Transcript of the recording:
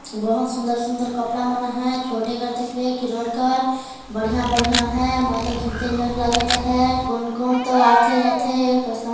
बहुत सुंदर सुंदर कपड़ा मन हैं छोटे बढ़िया बढ़िया हैं मै तो घिनते नियार लगत हैं कुन कुन तो आथे जाथे पैसा--